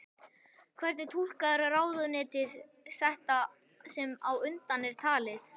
Hvernig túlkar ráðuneytið þetta sem á undan er talið?